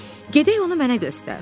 Gedək onu mənə göstər.